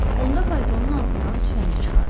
Onda paltonun altından tüfəngi çıxardı.